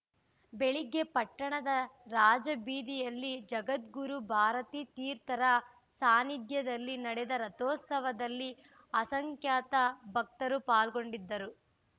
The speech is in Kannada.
ಬೆಳಗ್ಗೆ ಪಟ್ಟಣದ ರಾಜಬೀದಿಯಲ್ಲಿ ಜಗದ್ಗುರು ಭಾರತೀ ತೀರ್ಥರ ಸಾನಿದ್ಯದಲ್ಲಿ ನಡೆದ ರಥೋತ್ಸವದಲ್ಲಿ ಅಸಂಖ್ಯಾತ ಭಕ್ತರು ಪಾಲ್ಗೊಂಡಿದ್ದರು